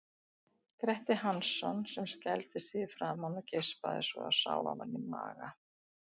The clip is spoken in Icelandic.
Gretti Hansson, sem skældi sig í framan og geispaði svo að sá ofan í maga.